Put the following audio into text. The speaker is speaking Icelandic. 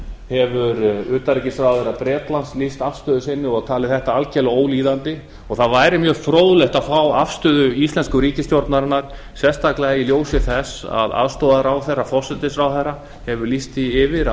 hefur utanríkisráðherra bretlands lýst afstöðu sinni og talið þetta algjörlega ólíðandi það væri mjög fróðlegt að fá afstöðu íslensku ríkisstjórnarinnar sérstaklega í ljósi þess að aðstoðarráðherra forsætisráðherra hefur lýst því yfir